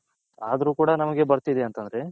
ಅದ್ರು ಕೂಡ ನಮ್ಮಗೆ ಬರ್ತಿದೆ ಅಂದ್ರೆ